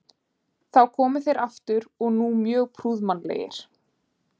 Þá komu þeir aftur og nú mjög prúðmannlegir.